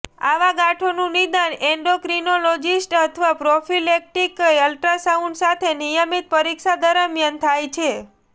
આવા ગાંઠોનું નિદાન એન્ડોક્રીનોલોજિસ્ટ અથવા પ્રોફીલેક્ટીક અલ્ટ્રાસાઉન્ડ સાથે નિયમિત પરીક્ષા દરમિયાન થાય છે